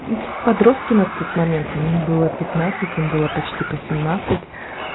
мм подростки на тот момент мне было пятнадцать им было почти по семнадцать